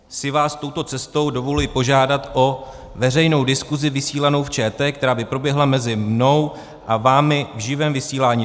"... si vás touto cestou dovoluji požádat o veřejnou diskusi vysílanou v ČT, která by proběhla mezi mnou a vámi v živém vysílání.